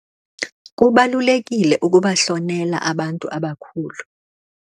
Kubalulekile ukubahlonela abantu abakhulu.